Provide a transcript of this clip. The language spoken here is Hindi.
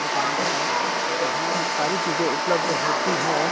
दुकान है जहाँं सारी चीजें उपलब्ध होती है।